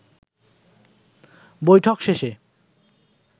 বৈঠক শেষে